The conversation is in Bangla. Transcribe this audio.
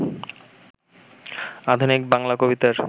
আধুনিক বাংলা কবিতার